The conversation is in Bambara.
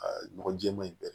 Aa nɔgɔ jɛɛma in bɛɛ